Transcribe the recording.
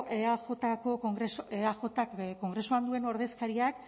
eajko kongresu eajk kongresuan duen ordezkariak